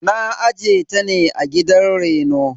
Na aje ta ne a gidan reno.